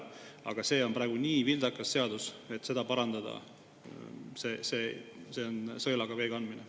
Aga see on praegu nii vildakas seadus, et püüd seda parandada on sõelaga vee kandmine.